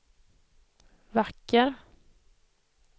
vacker